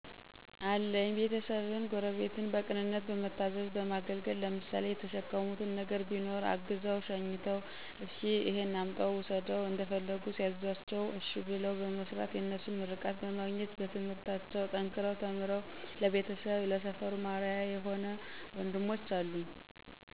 አለኝ ቤተሰብን፣ ጎረቤትን በቅንነት በመታዘዝ በማገልገል ለምሳሌ የተሸከሙት ነገር ቢኖር አግዘው/ሸኝተው እሰኪ እሄን አምጣው ውሰደው እንደፈለጉ ሲያዝዟቸው እሸ ብለው በመስራት የነሱን ምርቃት በማግኘት በትምህርታቸው ጠንከረው ተምረው ለቤተሰብም ለሰፈሩም አርያ የሆ ወንድሞች አሉኝ።